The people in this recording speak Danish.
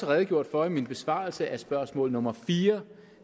redegjort for i min besvarelse af spørgsmål nummer fire